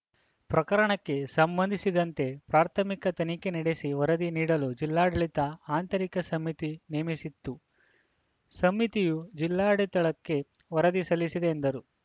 ಪ್ರಕರಣಕ್ಕೆ ಸಂಬಂಧಿಸಿದಂತೆ ಪ್ರಾಥಮಿಕ ತನಿಖೆ ನಡೆಸಿ ವರದಿ ನೀಡಲು ಜಿಲ್ಲಾಡಳಿತ ಆಂತರಿಕ ಸಮಿತಿ ನೇಮಿಸಿತ್ತು ಸಮಿತಿಯು ಜಿಲ್ಲಾಡತಳಿತಕ್ಕೇ ವರದಿ ಸಲ್ಲಿಸಿದೆ ಎಂದರು